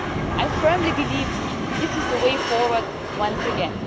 I firmly believe this is the way forward once again.